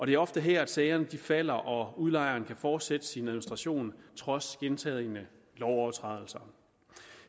det er ofte her sagerne falder og udlejeren kan fortsætte sin administration trods gentagne lovovertrædelser